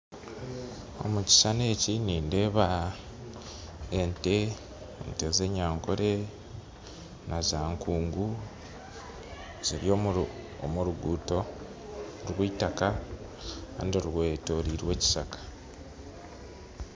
Omu kishuushani eki nindeeba ente z'enyankore nazakungu ziri omu ruguuto rw'itaaka kandi rwetorirwe ekishaka